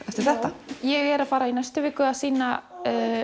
eftir þetta ég er að fara í næstu viku að sýna